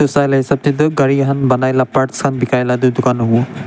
saile hisab teh tu gari khan banai lah parts khan bikai lah etu dukan hobo.